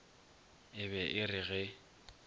e be e re ge